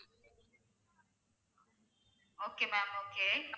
okay ma'am okay